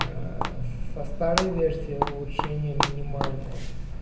аа со старой версии улучшения минимальные